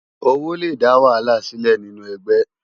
Ówó lé dá wàhálá silé ninú ègbè